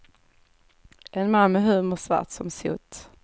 En man med humor svart som sot.